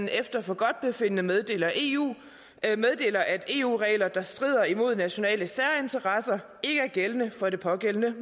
efter forgodtbefindende meddeler eu at eu regler der strider mod nationale særinteresser ikke er gældende for det pågældende